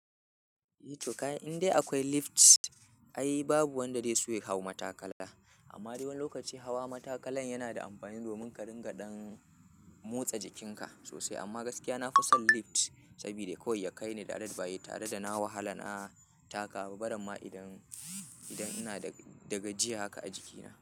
Eh to ka, in dai akwai lift ai babu wanda zai so ya hau matakala. Amma dai wani lokaci hawa matakalan yana da amfani domin ka dinga dan motsa jikinka sosai. Amma gaskiya na fi son lift saboda kawai ya kai ni direct ba tare da na wahala na taka. Barin ma idan, idan ina daga, daga jiya haka a jikina.